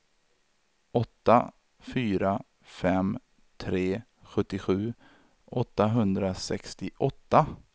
åtta fyra fem tre sjuttiosju åttahundrasextioåtta